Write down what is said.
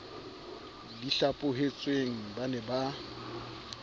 di hlaphohetsweng ba ne ba